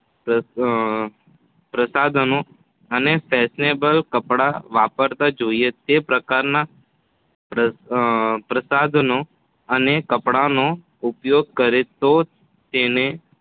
પાપનો અને ફેશનેબલ કપડાં વાપરતાં જોઈને તે પ્રકારનાં પ્રસાધનો અને કપડાંનો ઉપયોગ કરે તો તેને